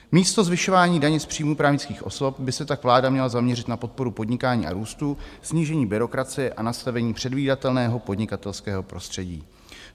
Místo zvyšování daně z příjmů právnických osob by se tak vláda měla zaměřit na podporu podnikání a růstu, snížení byrokracie a nastavení předvídatelného podnikatelského prostředí.